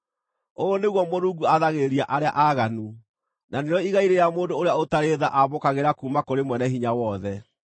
“Ũũ nĩguo Mũrungu aathagĩrĩria arĩa aaganu, na nĩrĩo igai rĩrĩa mũndũ ũrĩa ũtarĩ tha aamũkagĩra kuuma kũrĩ Mwene-Hinya-Wothe: